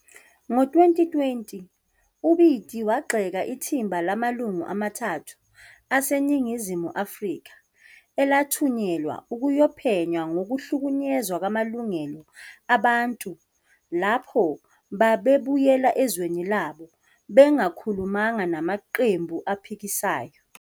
Ngo-2020, uBiti wagxeka ithimba lamalungu amathathu aseNingizimu Afrika elathunyelwa ukuyophenya ngokuhlukunyezwa kwamalungelo abantu lapho babebuyela ezweni labo bengakhulumanga namaqembu aphikisayo.